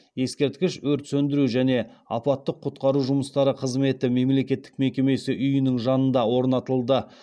ескерткіш өрт сөндіру және апаттық құтқару жұмыстары қызметі мемлекеттік мекемесі үйінің жанында орнатылды